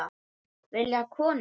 Vilja konur það?